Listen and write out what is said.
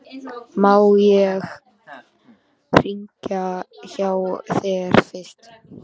En má ég hringja hjá þér fyrst?